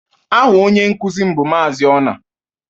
Aha onye nkuzi m bụ Maazị Onah